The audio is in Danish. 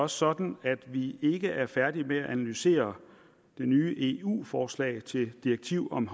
sådan at vi ikke er færdige med at analysere det nye eu forslag til et direktiv om